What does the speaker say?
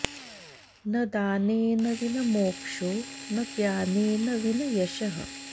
न दानेन विन मोक्षो न ग्यानेन विन यशः